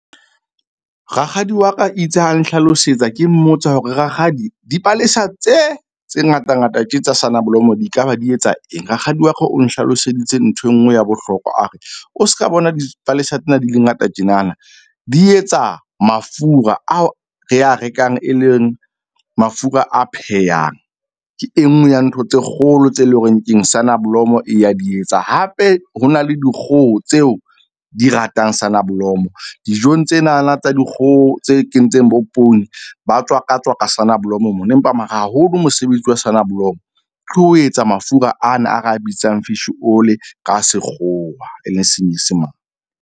Rakgadi wa ka itse ha nhlalosetsa ke mmotsa hore rakgadi dipalesa tse tse ngatangata tje tsa soneblomo di ekaba di etsa eng? Rakgadi wa ka o nhlaloseditse nthwe nngwe ya bohlokwa a re, o ska bona dipalesa tsena di le ngata tjenana, di etsa mafura ao re a rekang e leng mafura a phehang. Ke e nngwe ya ntho tse kgolo tse leng hore keng soneblomo e ya di etsa. Hape ho na le dikgoho tseo di ratang saneblomo dijong tsenana tsa dikgoho tse kentseng bo poone ba tswaka tswaka soneblomo moo, empa mara haholo mosebetsi wa sonneblom ke ho etsa mafura ana a ro bitsang fish oil-i ka sekgowa e leng senyesemane.